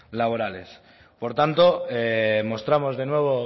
laborales por tanto mostramos de nuevo